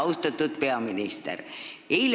Austatud peaminister!